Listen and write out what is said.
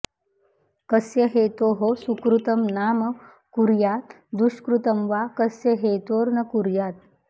कस्य हेतोः सुकृतं नाम कुर्या द्दुष्कृतं वा कस्य हेतोर्न कुर्यात्